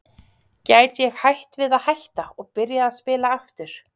Gæti ég hætt við að hætta og byrjað að spila aftur?